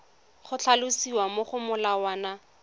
go tlhalosiwa mo go molawana